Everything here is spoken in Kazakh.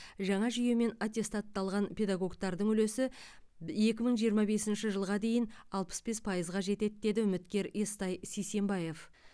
жаңа жүйемен аттестатталған педагогтардың үлесі екі мың жиырма бесінші жылға дейін алпыс бес пайызға жетеді деді үміткер естай сисенбаев